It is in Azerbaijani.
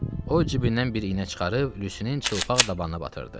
O cibindən bir iynə çıxarıb Lyusinin çılpaq dabanına batırdı.